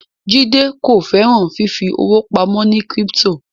Jide ko féràn fífi owo pàmò ní crypto